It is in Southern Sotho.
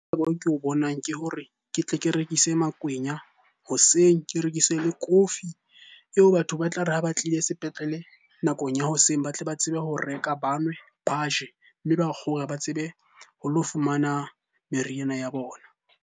Ko bonang ke hore ke tle ke rekise makwenya hoseng, ke rekise le kofi eo batho ba tla re ha ba tlile sepetlele nakong ya hoseng ba tle ba tsebe ho reka. Ba nwe, ba je, mme ba kgore ba tsebe ho lo fumana meriana ya bona.